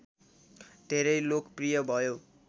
धेरै लोकप्रिय भयो